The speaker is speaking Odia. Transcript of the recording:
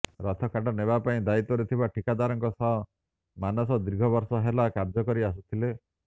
ରଥକାଠ ନେବା ପାଇଁ ଦାୟିତ୍ବରେ ଥିବା ଠିକାଦାରଙ୍କ ସହ ମାନସ ଦୀର୍ଘବର୍ଷ ହେଲା କାର୍ଯ୍ୟ କରି ଆସୁଥିଲେ